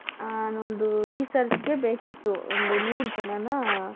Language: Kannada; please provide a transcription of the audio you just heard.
ಹ ನಂಗೆ researchಗೆ ಬೇಕಿತ್ತು ಒಂದು ನೂರು ಜನಾನ